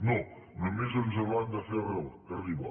no només ens l’han de fer arribar